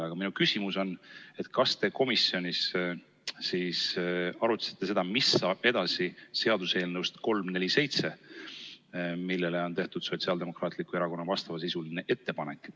Aga minu küsimus on, et kas te komisjonis arutasite seda, mis saab edasi seaduseelnõust 347, mille kohta on Sotsiaaldemokraatlik Erakond teinud vastavasisulise ettepaneku.